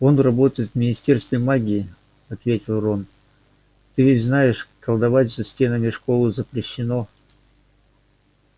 он работает в министерстве магии ответил рон ты ведь знаешь колдовать за стенами школы запрещено